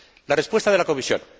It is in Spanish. La respuesta de la Comisión.